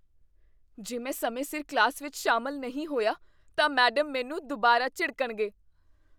ਜੇ ਮੈਂ ਸਮੇਂ ਸਿਰ ਕਲਾਸ ਵਿੱਚ ਸ਼ਾਮਲ ਨਹੀਂ ਹੋਇਆ, ਤਾਂ ਮੈਡਮ ਮੈਨੂੰ ਦੁਬਾਰਾ ਝਿੜਕਣਗੇ ।